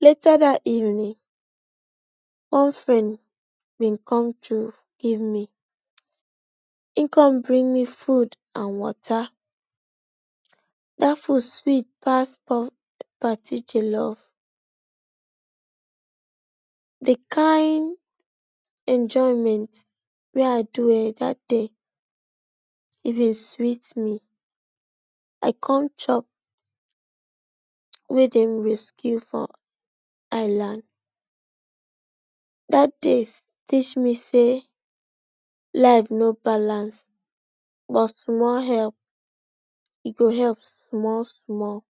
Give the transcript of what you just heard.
Later dat evening one friend being come give he come give me food and water that food sweet pass party follow the kain enjoyment wey I do eh. That day e dey sweet me I come chop like wey dey rescue for hailand that day teach me say life no Balance but small epp e go epp small small